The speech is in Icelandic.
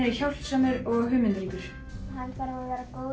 er hjálpsamur og hugmyndaríkur hann þarf að